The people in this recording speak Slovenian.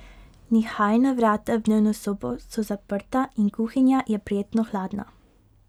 Nihajna vrata v dnevno sobo so zaprta in kuhinja je prijetno hladna.